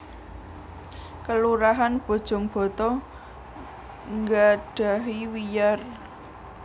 Kelurahan Bojongbata nggadhahi wiyar